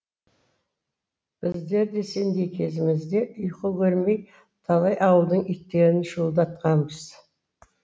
біздер де сендей кезімізде ұйқы көрмей талай ауылдың итін шуылдатқанбыз